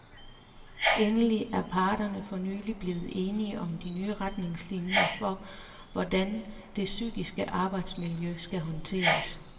Endelig er parterne for nylig blevet enige om de nye retningslinier for, hvordan det psykiske arbejdsmiljø skal håndteres.